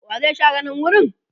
wa zai share nan wurin?